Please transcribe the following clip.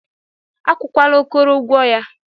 Akwụkwala Okoro ụgwọ ya.